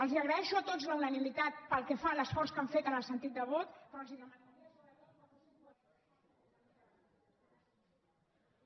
els agraeixo a tots la unanimitat pel que fa a l’esforç que han fet en el sentit de vot però els demanaria